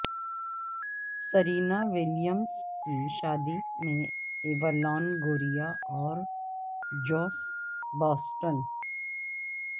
Serena Williams کی شادی میں ایوا لانگوریا اور جوس باسسٹن